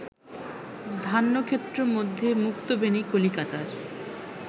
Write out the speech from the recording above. ধান্যক্ষেত্র মধ্যে মুক্তবেণী-কলিকাতার